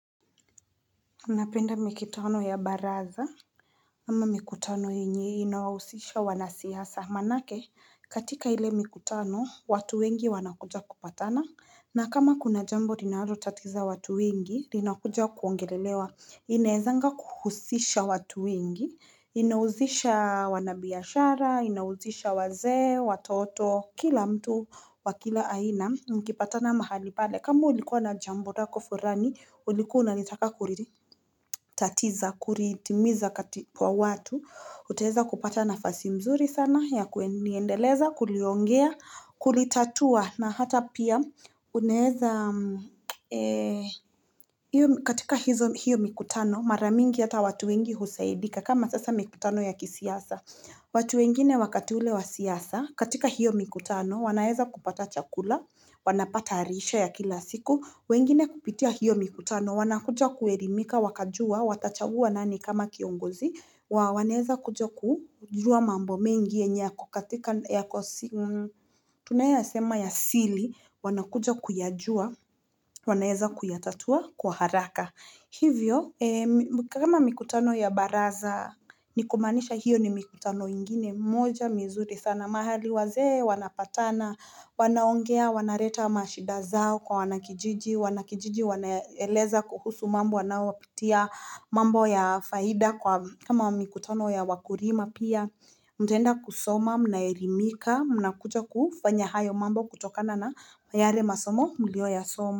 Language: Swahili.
Napenda mikitano ya baraza ama mikutano inye inawahusisha wanasiasa manake katika ile mikutano watu wengi wanakuja kupatana na kama kuna jambo rinalo tatiza watu wengi rinakuja kuongelelewa inaezanga kuhusisha watu wengi Inauzisha wanabiashara inauzisha wazee watoto Kila mtu wa kila aina mkipatana mahali pale kama ulikuwa na jambo rako furani ulikuwa na nitaka kuriri tatiza, kuriitimiza kwa watu utaheza kupata nafasi mzuri sana ya kuendeleza, kuliongea, kulitatua na hata pia uneeza katika hizo hiyo mikutano mara mingi hata watu wengi husaidika kama sasa mikutano ya kisiasa watu wengine wakati ule wa siasa katika hiyo mikutano wanaeza kupata chakula wanapata rishe ya kila siku wengine kupitia hiyo mikutano wanakucha kuelimika wakajua watachagua nani kama kiongozi, wana wanaeza kuja kujua mambo mengi yenye yako, katika ya kusi, tunayasema ya sili, wanakuja kuyajua, wanaeza kuyatatua kwa haraka. Hivyo, kama mikutano ya baraza, nikumaanisha hiyo ni mikutano ingine, moja, mizuri, sana mahali waze, wanapatana, wanaongea, wanareta mashida zao kwa wanakijiji, Wanakijiji wanaeleza kuhusu mambo wanao wapitia mambo ya faida kwa kama mikutano ya wakurima pia Mtaenda kusoma, mnaelimika, mnakucha kufanya hayo mambo kutokana na yare masomo mlioyasoma.